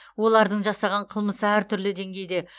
олардың жасаған қылмысы әртүрлі денгейде